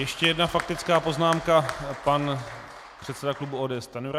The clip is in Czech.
Ještě jedna faktická poznámka - pan předseda klubu ODS Stanjura.